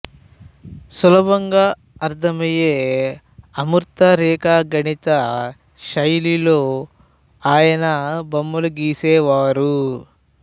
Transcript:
సులభంగా అర్థమయ్యే అమూర్త రేఖాగణిత శైలిలో ఆయన బొమ్మలు గీసేవారు